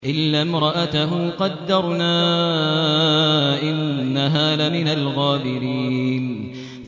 إِلَّا امْرَأَتَهُ قَدَّرْنَا ۙ إِنَّهَا لَمِنَ الْغَابِرِينَ